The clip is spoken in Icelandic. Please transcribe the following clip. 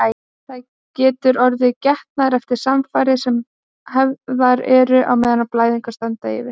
Það getur orðið getnaður eftir samfarir sem hafðar eru á meðan blæðingar standa yfir.